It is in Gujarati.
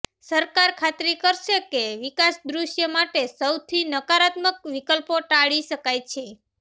સરકાર ખાતરી કરશે કે વિકાસ દૃશ્ય માટે સૌથી નકારાત્મક વિકલ્પો ટાળી શકાય છે